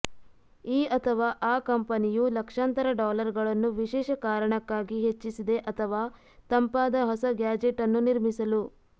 ಈ ಅಥವಾ ಆ ಕಂಪನಿಯು ಲಕ್ಷಾಂತರ ಡಾಲರ್ಗಳನ್ನು ವಿಶೇಷ ಕಾರಣಕ್ಕಾಗಿ ಹೆಚ್ಚಿಸಿದೆ ಅಥವಾ ತಂಪಾದ ಹೊಸ ಗ್ಯಾಜೆಟ್ ಅನ್ನು ನಿರ್ಮಿಸಲು